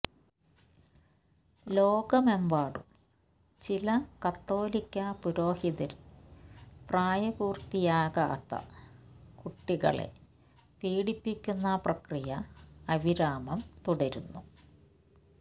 ലോകമെമ്പാടും ചില കത്തോലിക്കാ പുരോഹിതര് പ്രായപൂര്ത്തിയാകാത്ത കുട്ടികളെ പീഡിപ്പിക്കുന്ന പ്രക്രിയ അവിരാമം തുടരുന്നു